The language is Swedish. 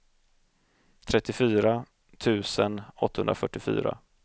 trettiofyra tusen åttahundrafyrtiofyra